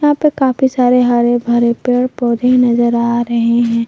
यहां पे काफी सारे हरे भरे पेड़ पौधे नजर आ रहे हैं।